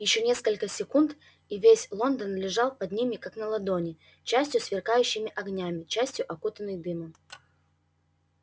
ещё несколько секунд и весь лондон лежал под ними как на ладони частью сверкающий огнями частью окутанный дымом